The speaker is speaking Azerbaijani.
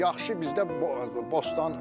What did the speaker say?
Yaxşı bizdə bostan olardı.